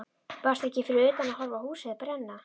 Varstu ekki fyrir utan að horfa á húsið brenna?